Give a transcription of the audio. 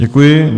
Děkuji.